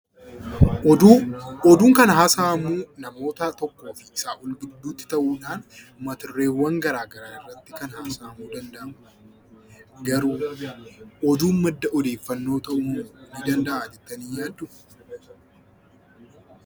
Oduu, oduun kan haasahamuu namoota tokkoof isaa ol gidduutti ta'uudhaan mata dureewwan garaa garaa irratti kan haasahamuu danda'amu garuu oduun madda odeeffannoo ta'uu ni danda'a jettanii yaadduu?